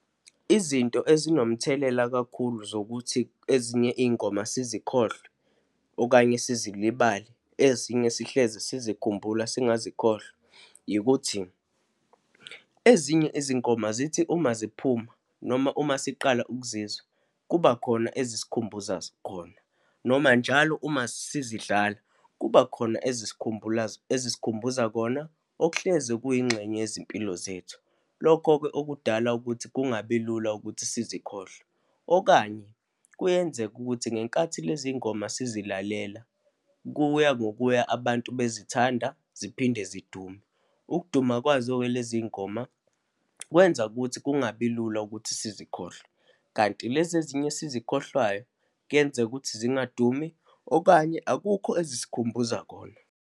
Izinto ezinomthelela kakhulu zokuthi ezinye iy'ngoma sizikhohlwe, okanye sizilibale, ezinye sihlezi sizikhumbula singazikhohlwa yikuthi, ezinye izingoma zithi uma ziphuma noma uma siqala ukuzizwa kubakhona ezisikhumbuza khona noma njalo uma sizidlala kuba khona ezisikhumbuza kona okuhlezi kuyingxenye yezimpilo zethu. Lokho-ke okudala ukuthi kungabi lula ukuthi sizikhohlwe, okanye kuyenzeka ukuthi ngenkathi lezi ngoma sizilalela, kuya ngokuya abantu bezithanda, ziphinde zidume. Ukuduma kwazo-ke lezi ngoma kwenza ukuthi kungabi lula ukuthi sizikhohlwe, kanti lezi ezinye esizikhohlwayo, kuyenzeka ukuthi zingadumi, okanye akukho ezisikhumbuza kona.